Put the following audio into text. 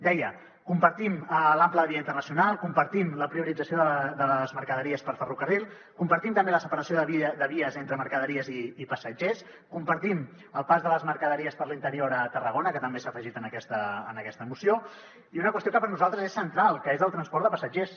deia compartim l’ample de via internacional compartim la priorització de les mercaderies per ferrocarril compartim també la separació de vies entre mercaderies i passatgers compartim el pas de les mercaderies per l’interior a tarragona que també s’ha afegit en aquesta moció i una qüestió que per nosaltres és central que és el transport de passatgers